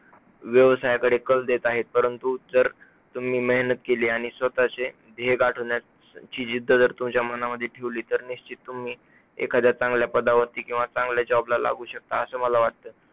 व्यवसायाकडे कल देत आहेत, परंतु जर तुम्ही मेहनत केली आणि स्वतःचे ध्येय गाठवण्यातची जिद्द जर तुमच्या मनामध्ये ठेवली तर निश्चित तुम्ही एखाद्या चांगल्या पदावर किंवा चांगल्या job ला लागू शकता असे मला वाटतं.